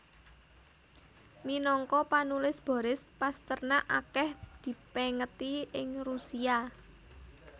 Minangka panulis Boris Pasternak akèh dipèngeti ing Rusia